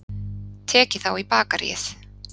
Tekið þá í bakaríið.